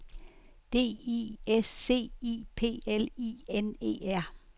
D I S C I P L I N E R